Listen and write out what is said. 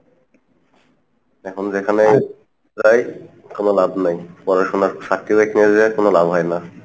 এখন যেখানে প্রায় কোনো লাভ নাই, পড়াশোনার certificate নিয়ে যেয়ে কোনো লাভ হয় না।